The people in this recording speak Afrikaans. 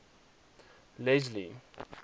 leslie